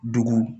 Dugu